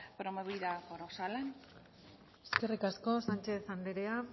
promovida por osalan eskerrik asko sanchez andrea